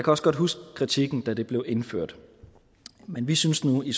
også godt huske kritikken da det blev indført men vi synes nu i